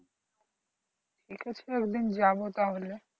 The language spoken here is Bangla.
ঠিক আছে একদিন যাবো তাহলে